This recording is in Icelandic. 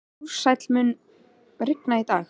Ársæl, mun rigna í dag?